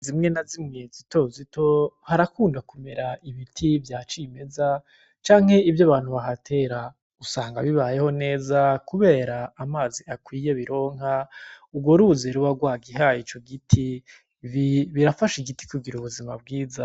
Inzuzi zimwe na zimwe zitozito harakunda kumera ibiti vya cimeza canke ivyo abantu bahatera, usanga bibayeho neza kubera amazi akwiye bironka urwo ruzi ruba rwagihaye ico giti, birafasha igiti kugira ubuzima bwiza.